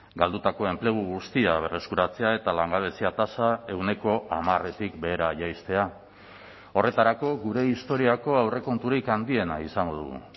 galdutako enplegu guztia berreskuratzea eta langabezia tasa ehuneko hamaretik behera jaistea horretarako gure historiako aurrekonturik handiena izango dugu